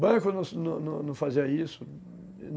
Banco não fazia isso.